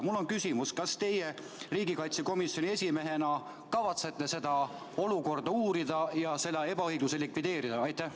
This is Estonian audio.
Mul on küsimus: kas teie riigikaitsekomisjoni esimehena kavatsete seda olukorda uurida ja seda ebaõiglust likvideerida?